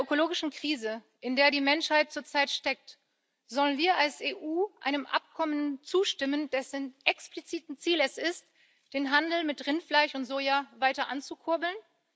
In der ökologischen Krise, in der die Menschheit zurzeit steckt, sollen wir als EU einem Abkommen zustimmen, dessen explizites Ziel es ist, den Handel mit Rindfleisch und Soja weiter anzukurbeln?